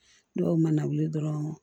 Dɔw mana wuli dɔrɔn